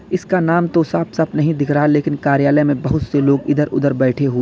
इसका नाम तो साफ साफ नहीं दिख रहा लेकिन कार्यालय में बहुत से लोग इधर उधर बैठे हु--